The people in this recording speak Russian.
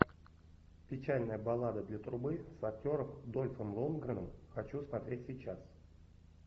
печальная баллада для трубы с актером дольфом лундгреном хочу смотреть сейчас